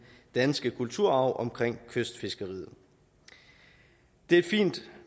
danske kulturarv omkring kystfiskeriet det er et fint